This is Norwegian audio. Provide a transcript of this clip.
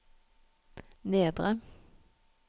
nedre